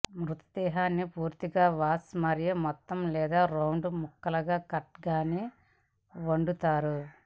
మృతదేహాన్ని పూర్తిగా వాష్ మరియు మొత్తం లేదా రౌండ్ ముక్కలుగా కట్ గాని వండుతారు